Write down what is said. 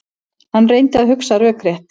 Hann reyndi að hugsa rökrétt.